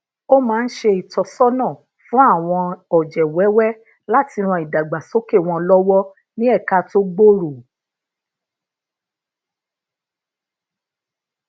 ó máa ń se itósona fun àwọn oje wewe lati ran idagbasoke won lowo ni eka to gbooro